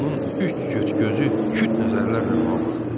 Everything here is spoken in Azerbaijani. Onun üç cüt gözü küt nəzərlərlə ona baxdı.